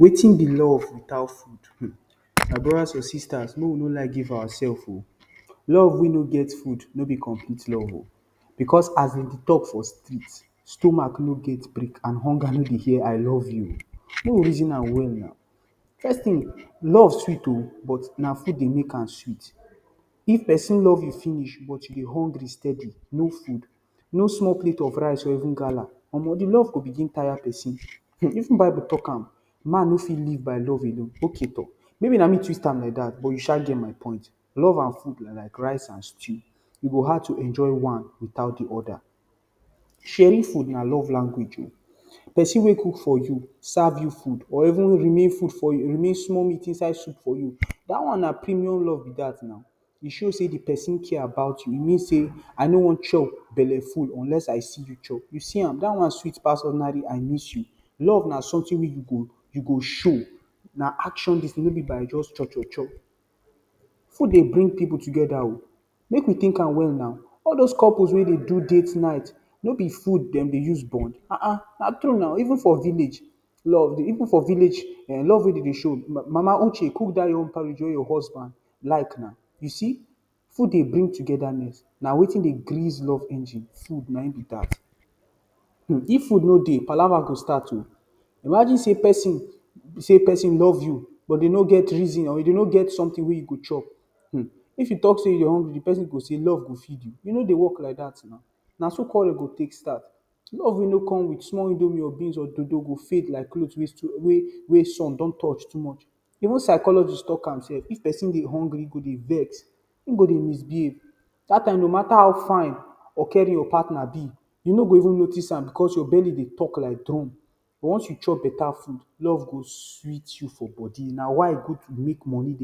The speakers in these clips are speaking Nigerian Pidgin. Wetin be love without food, my brothers and sisters make we no lie give ourselves. Love wey no get food no be complete love o, because as we dey talk for street stomach no get break and hunger no dey hear “ I LOVE YOU”. Make we reason am well na, first thing love sweet o but na food dey make sweet. If person love you finish but you dey hungry steadily no food, no small plate of rice or even gala omoh de love go even tire person, even bible talk am “man no fit live by love alone”. Okay tor maybe na me twist am like dat but you sha get my point. Love and food na like rice and stew, e go hard to enjoy one without the other. Sharing food na love language oo, person wey cook for you, serve you food, or even remain food for you or remain small meat inside soup for you. Dat one na premium love be dat na, e show sey de person care about you, e mean sey I no wan chop bele full unless I see you chop, you see am dat one sweet pass ordinary “I MISS YOU”. Love na something wey you go show na action dis thing no be by just cho-cho-cho. Food dey bring people together o, make we think am well na, all those couples wey dey do date night no be food dem dey us bond? Ahn anh na true na, even for village love dey, even for village um love wey dem dey show, mama Uche cook dat yam porridge wey your husband like na, you see. Food dey bring togetherness, na wetin dey grease love engine food na im be dat. Um, if food no dey palava go start o, imagine say person, person love you but dey no get reason or dey no get food wey you go chop. If you talk say you dey hungry, de person go say love go feed you e no dey work like dat na, na so quarrel go take start. Love wey no come with small indomie or beans or dodo go fade like cloth wey sun don touch too much. Even psychologists talk am sef, if person dey hungry, im go dey vex, im go dey misbehave dat time no matter how fine or caring your partner be you no fit notice am because your belly dey talk like drum. But once you chop beta food love go sweet you for body na why e good to make money,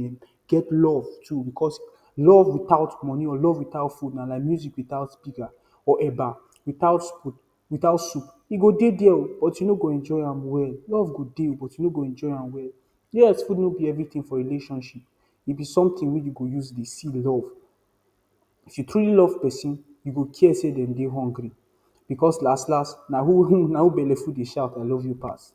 get love too. Because love without money or love without food na like music without speaker or eba without spoon, without soup. E go dey there but you no go enjoy am well, love go dey but you no go enjoy am well. Yes food no be everything for relationship, e be something wey we go dey use see love. If you truly love person you go care sey dem dey hungry because las-las na who bele full dey shout I love you pass.